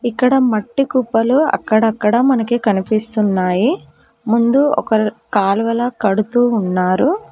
ఇక్కడ మట్టి కుప్పలు అక్కడక్కడ మనకి కనిపిస్తున్నాయి ముందు ఒక కాలువల కడుతూ ఉన్నారు.